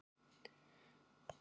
Kona drepur fjórar milljónir